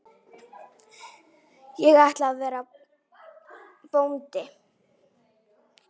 Ég ætla að verða bóndi